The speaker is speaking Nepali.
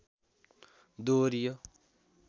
दोहोरियो